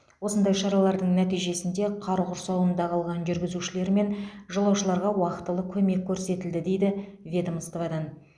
осындай шаралардың нәтижесінде қар құрсауында қалған жүргізушілер мен жолаушыларға уақтылы көмек көрсетілді дейді ведомстводан